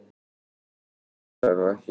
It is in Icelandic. Ég hugsa nú ekki.